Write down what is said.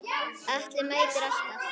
Atli mætti alltaf.